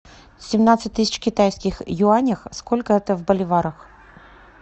семнадцать тысяч китайских юанях сколько это в боливарах